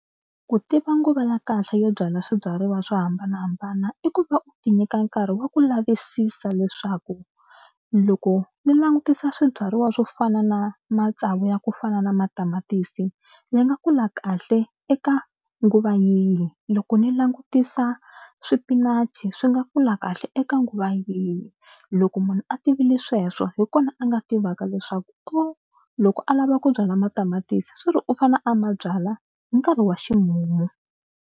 Ku tiva nguva ya kahle yo byala swibyariwa swo hambanahambana i ku va u tinyika nkarhi wa ku lavisisa leswaku loko ni langutisa swibyariwa swo fana na matsavu ya ku fana na matamatisi ya nga kula kahle eka nguva yihi. Loko ni langutisa swipinachi swi nga kula kahle eka nguva yini. Loko munhu a tivile sweswo hi kona a nga tivaka leswaku o loko a lava ku byala matamatisi swi ri u fane a ma byala nkarhi wa ximumu.